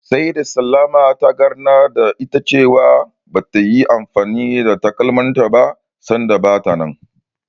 Sai da Salamah ta ganar da ita cewa bata yi anfani da takalmanta ba sanda bata nan.